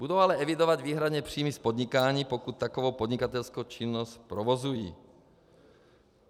Budou ale evidovat výhradně příjmy z podnikání, pokud takovou podnikatelskou činnost provozují.